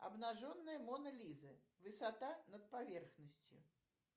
обнаженная мона лиза высота над поверхностью